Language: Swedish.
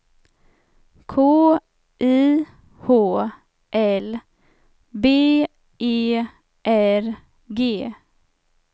K I H L B E R G